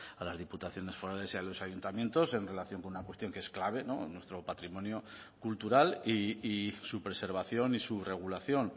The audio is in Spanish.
a las diputaciones forales y a los ayuntamientos en relación con una cuestión que es clave nuestro patrimonio cultural y su preservación y su regulación